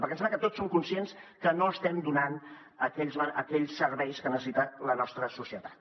perquè em sembla que tots som conscients que no estem donant aquells serveis que necessita la nostra societat